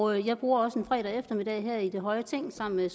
og jeg bruger også en fredag eftermiddag her i det høje ting sammen med